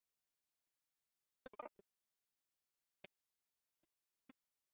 Eins og við var að búast voru engin fyrirheit af þessu tagi efnd.